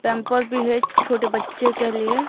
pamper भी है छोटे बच्चे के लिए--